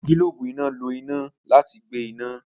Awọn gilobu ina lo ina lati gbe ina.